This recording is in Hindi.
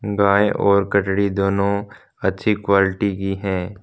गाय और कचड़ी दोनों अच्छी क्वालिटी की हैं।